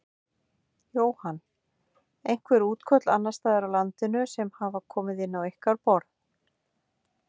Jóhann: Einhver útköll annarsstaðar á landinu sem hafa komið inn á ykkar borð?